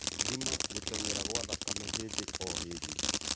Thima gũtengera gwa thakame hĩndĩ o hĩndĩ